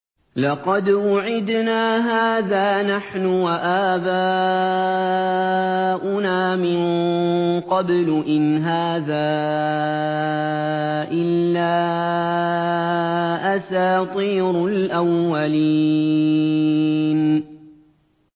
لَقَدْ وُعِدْنَا هَٰذَا نَحْنُ وَآبَاؤُنَا مِن قَبْلُ إِنْ هَٰذَا إِلَّا أَسَاطِيرُ الْأَوَّلِينَ